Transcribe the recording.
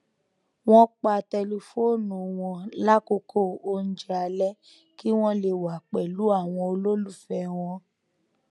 wón pa tẹlifóònù wọn lákòókò oúnjẹ alé kí wón lè wà pèlú àwọn olólùfẹ wọn